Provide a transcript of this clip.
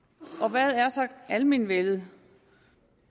hvad er så almenvellet